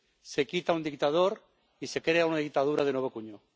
Se quita un dictador y se crea una dictadura de nuevo cuño.